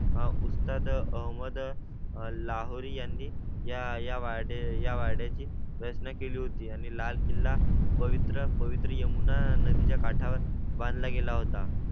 उत्साह अहमद लाहोरी यांनी या या वाडे या वाड्या ची प्रयत्न केली होती आणि लाल किल्ला. पवित्र पवित्रा यमुना नदीच्या काठावर बांधला गेला होता.